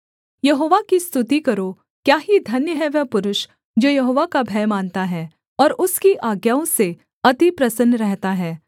यहोवा की स्तुति करो क्या ही धन्य है वह पुरुष जो यहोवा का भय मानता है और उसकी आज्ञाओं से अति प्रसन्न रहता है